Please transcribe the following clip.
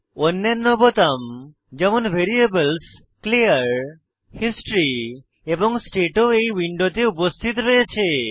অন্যান্য বোতাম যেমন ভ্যারিয়েবলস ক্লিয়ার হিস্টরি এবং স্টেট ও এই উইন্ডোতে উপস্থিত রয়েছে